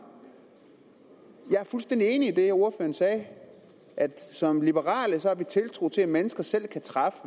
jeg er fuldstændig enig i det ordføreren sagde at at som liberale har vi tiltro til at mennesker selv kan træffe